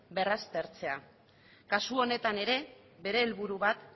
berraztertzea kasu honetan ere bere helburu bat